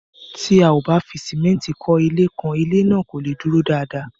Tí a ò bá fi símẹ́ntì kó ilé kan, ilé náà kò leè dúró dáadáa.